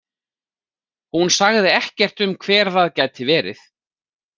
Hún sagði ekkert um hver það gæti verið?